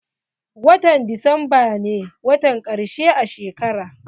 Watan desemba ne watan ƙarshe a shekara.